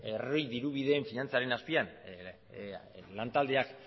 herri dirubideen finantzaren azpian lan taldeak